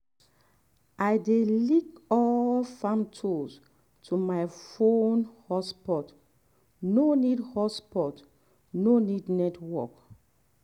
i dey link all farm tools to my fon hotspot—no need hotspot—no need network.